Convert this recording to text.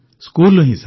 ସ୍କୁଲରୁ ହିଁ